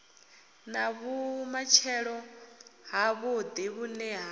na vhumatshelo havhuḓi vhune ha